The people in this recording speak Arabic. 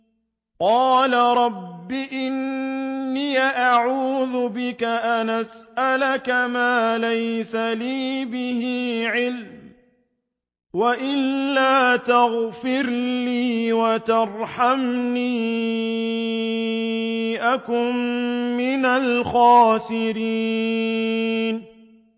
قَالَ رَبِّ إِنِّي أَعُوذُ بِكَ أَنْ أَسْأَلَكَ مَا لَيْسَ لِي بِهِ عِلْمٌ ۖ وَإِلَّا تَغْفِرْ لِي وَتَرْحَمْنِي أَكُن مِّنَ الْخَاسِرِينَ